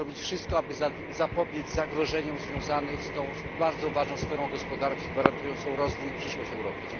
Musimy zrobić wszystko, aby zapobiec zagrożeniom związanym z tą bardzo ważną sferą gospodarki gwarantującą rozwój i przyszłość Europy.